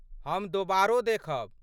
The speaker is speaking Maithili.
हम दोबारो देखब।